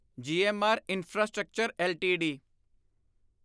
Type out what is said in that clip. GMR infrastructure LTD